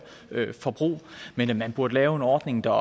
forbrug man man burde lave en ordning der